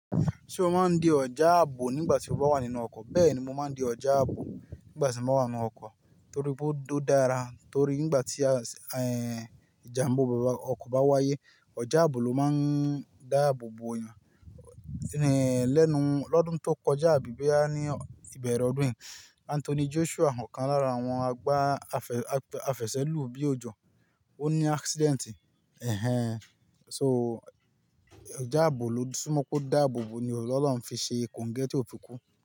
Ṣé o máa ń di ọjà ààbò nígbà tí o bá wà nínú ọkọ̀? Bẹ́ẹ̀ ni mo máa ń di ọjà ààbò nígbà tí mo wà nínú ọkọ̀ torí pé ó dára. Torí nígbà tí, ẹ́, ìjàmbá ọkọ̀ bá wáyé, ọjà ààbò ló máa ń dáàbò bo èèyàn. Lẹ́nu, lọ́dún tó kọjá, àbí bẹ́ẹ̀ àní, ìbẹ̀rẹ̀ ọdún yìí, Anthony Joshua ọ̀kan lára àwọn àgbá afẹ̀sẹ́lù bí ojò, ó ní accident. Ẹ̀hẹn. So ọjà ààbò ló túmọ̀ pé ó dáàbò bo ni ọlọ́run fi ṣe kòńgẹ́ tí ò fi kú.